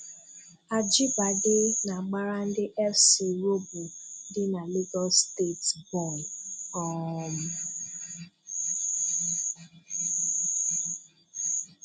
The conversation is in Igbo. Ajibade na-agbara ndị FC Robo dị na Legọs steeti bọọlụ. um